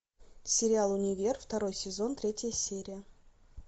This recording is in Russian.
сериал универ второй сезон третья серия